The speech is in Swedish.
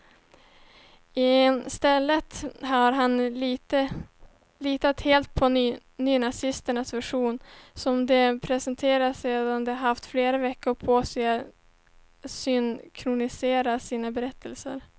I stället har han litat helt på nynazisternas version, som de presenterade sedan de haft flera veckor på sig att synkronisera sina berättelser.